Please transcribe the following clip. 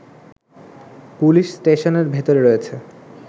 police স্টেশনের ভেতরে রয়েছে